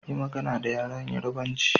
Yi magana da yaren Yorubanchi.